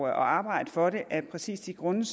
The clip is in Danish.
at arbejde for det af præcis de grunde